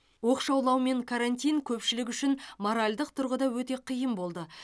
оқшаулау мен карантин көпшілік үшін моральдық тұрғыда өте қиын болды